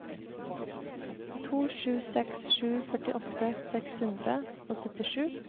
to sju seks sju førtiåtte seks hundre og syttisju